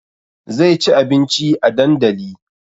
Zai ci abinci a dandali